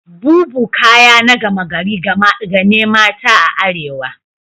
Boubou kaya na gama gari ga ne mata a arewa.